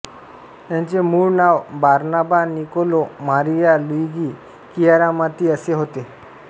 याचे मूळ नाव Barnaba Niccolo Maria Luigi Chiaramonti असे होते